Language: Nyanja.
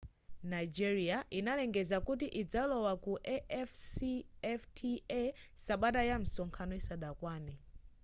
nigeria idalengeza kuti idzalowa ku afcfta sabata ya msonkhano isadakwane